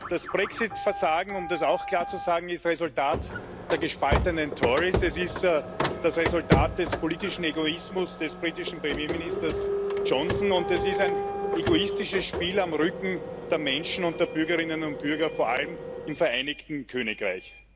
Das Brexit Versagen um das auch klar zu sagen ist Resultat der gespaltenen Tories, es ist das Resultat des politischen Egoismus des britischen Premierministers Johnson, und es ist ein egoistisches Spiel auf dem Rücken der Menschen und der Bürgerinnen und Bürger vor allem im Vereinigten Königreich.